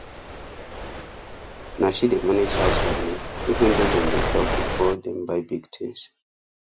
na she dey manage house money even though dem dey talk before dem buy big things